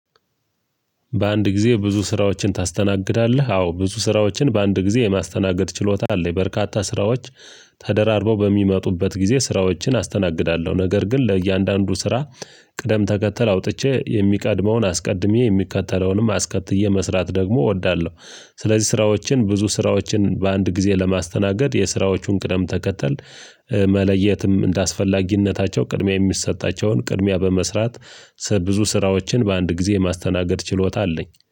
በአንድ ጊዜ ብዙ ስራዎችን ታስተናግዳለህ? አዎ ብዙ ስራዎችን በአንድ ጊዜ የማስተናገድ ችሎታ አለኝ። በርካታ ስራዎች ተደራርበው በሚመጡበት ጊዜ ስራዎችን አስተናግዳለሁ። ነገር ግን ለእያንዳንዱ ስራ ቅደም ተከተል አውጥቼ የሚቀድመውን አስቀድሜ የሚከተለውንም አስከትዬ መስራት ደግሞ እወዳለሁ። ስለዚህ ስራዎችን ብዙ ስራዎችን በአንድ ጊዜ ለማስተናገድ የስራዎቹን ቅደም ተከተል መለየትም እንደአስፈላጊነታቸው ቅድሚያ የሚሰጣቸውን ቅድሚያ በመስራት ብዙ ስራዎችን በአንድ ጊዜ የማስተናገድ ችሎታ አለኝ።